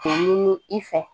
Ɲini i fɛ